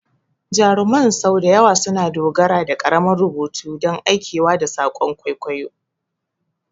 Jaruman sau da yawa suna dogara da ƙaramin rubutu don aikewa da saƙon kwaikwayo.